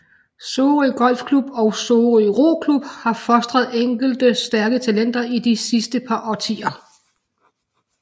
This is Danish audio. Sorø Golfklub og Sorø Roklub har fostret enkelte stærke talenter i de sidste par årtier